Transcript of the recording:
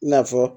I n'a fɔ